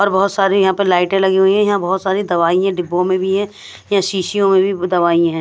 और बहोत सारी यहां पे लाइटें लगी हुईं हैं यहां बहोत सारी दवाइयां डिब्बों में भी हैं यहां शीशियों में भी दवाइयां हैं।